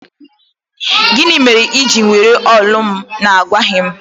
Gịnị mere i ji were olu m na-agwaghị m?